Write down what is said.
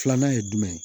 Filanan ye jumɛn ye